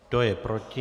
Kdo je proti?